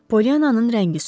Poliananın rəngi soldu.